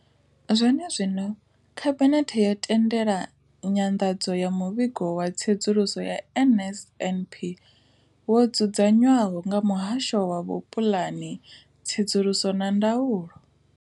Zwene zwino, Khabinethe yo tendela nyanḓadzo ya Muvhigo wa Tsedzuluso ya NSNP wo dzudzanywaho nga Muhasho wa Vhupulani, Tsedzuluso na Ndaulo.